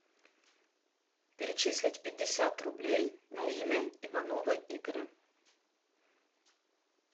перечислить пятьдесят рублей на имя иванова игоря